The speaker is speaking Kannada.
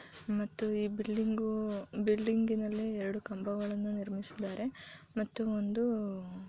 ನೀವಿಲ್ಲಿ ನೋಡುತ್ತಿರುವುದು ಚಿತ್ರಮಂದಿರದ ಒಳಗಡೆ ಯಾವ ರೀತಿ ಕಾಣುತ್ತದೆ ಎಂದು ಚಿತ್ರಮಂದಿರದ ಒಳಗಡೆ ಈ ರೀತಿ ಕಾಣುತ್ತದೆ.